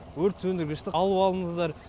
өрт сөндіргішті алып алыңыздар